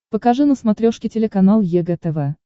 покажи на смотрешке телеканал егэ тв